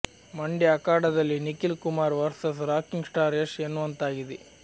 ಮಂಡ್ಯ ಅಖಾಡದಲ್ಲಿ Nikhil Kumar versus rocking star Yash ಎನ್ನುವಂತಾಗಿದೆ